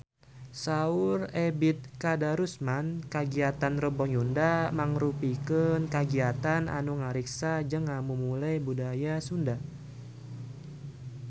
Saur Ebet Kadarusman kagiatan Rebo Nyunda mangrupikeun kagiatan anu ngariksa jeung ngamumule budaya Sunda